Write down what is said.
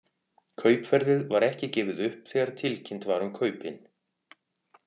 Kaupverðið var ekki gefið upp þegar tilkynnt var um kaupin.